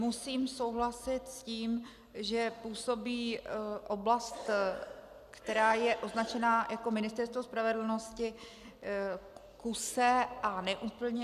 Musím souhlasit s tím, že působí oblast, která je označená jako Ministerstvo spravedlnosti, kuse a neúplně.